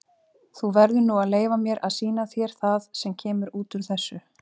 Þú verður nú að leyfa mér að sýna þér það sem kemur út úr þessu.